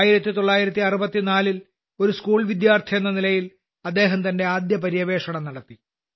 1964ൽ ഒരു സ്കൂൾവിദ്യാർത്ഥി എന്ന നിലയിൽ അദ്ദേഹം തന്റെ ആദ്യപര്യവേക്ഷണം നടത്തി